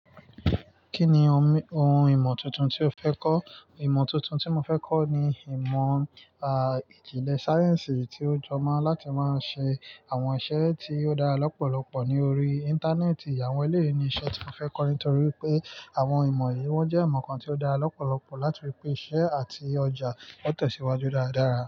Kí ni ohun ìmọ̀ tuntun tí o fẹ́ kọ́? Ìmọ̀ tuntun tí mo fẹ́ kọ́ ni ìmọ̀, ah, ìjìnlẹ̀ sáyẹ́ǹsì tí ó jọ mọ́ láti máa ṣe àwọn iṣẹ́ tí ó dára lọ́pọ̀lọpọ̀ ní orí Íńtánẹ́ẹ̀tì. Àwọn eléyi ni iṣẹ́ tí mo fẹ́ kọ́ nítorí pé àwọn ìmọ̀ yìí wọ́n jẹ́ ìmọ̀ kan tí ó dára lọ́pọ̀lọpọ̀ láti rí pé iṣẹ́ àti ọjà ọ tẹ̀síwájú dáradára.